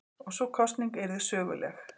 Og sú kosning yrði söguleg.